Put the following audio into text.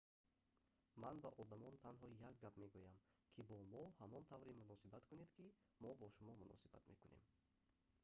ман ба одамон танҳо як гап мегӯям ки бо мо ҳамон тавре муносибат кунед ки мо бо шумо муносибат мекунем